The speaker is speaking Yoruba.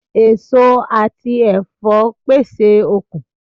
Èso àti ẹ̀fọ́ pèsè okun